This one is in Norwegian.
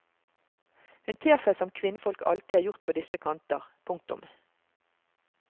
Hun ter seg som kvinnfolk alltid har gjort på disse kanter. punktum